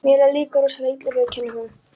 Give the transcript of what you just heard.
Mér leið líka rosalega illa, viðurkennir hún.